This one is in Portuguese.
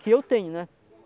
Que eu tenho, né?